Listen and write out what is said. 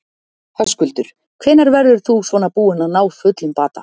Höskuldur: Hvenær verður þú svona búinn að ná fullum bata?